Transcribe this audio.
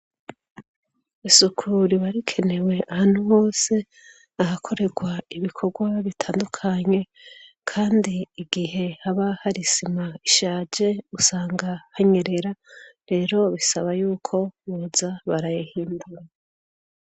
Isuku riba rikenewe ahantu hose ahakorerwa ibikorwa bitandukanye kandi igihe haba hari isima ishaje usanga hanyerera rero bisaba yuko boza barayahindura.